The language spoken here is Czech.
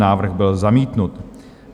Návrh byl zamítnut.